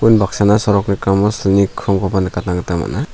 unbaksana sorok rikamo silni krongkoba nikatna gita man·a.